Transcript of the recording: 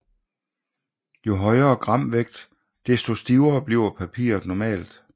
Jo højere gramvægt desto stivere bliver papiret normalt